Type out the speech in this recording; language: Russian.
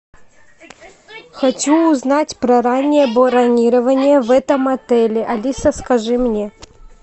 хочу узнать про раннее бронирование в этом отеле алиса скажи мне